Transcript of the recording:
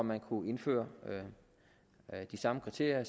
man kunne indføre de samme kriterier